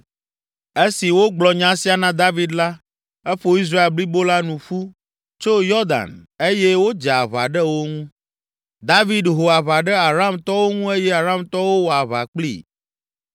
Esi wogblɔ nya sia na David la, eƒo Israel blibo la nu ƒu, tso Yɔdan eye wodze aʋa ɖe wo ŋu. David ho aʋa ɖe Aramtɔwo ŋu eye Aramtɔwo wɔ aʋa kplii.